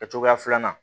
Kɛ cogoya filanan